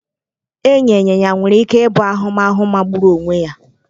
Ịnya ịnyịnya nwere ike ịbụ ahụmahụ magburu onwe ya.